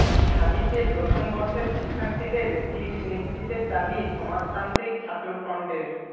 ঢাবিতে প্রথম বর্ষের শিক্ষার্থীদের সিট নিশ্চিতের দাবি সমাজতান্ত্রিক ছাত্রফ্রন্টের